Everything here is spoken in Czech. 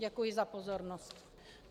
Děkuji za pozornost.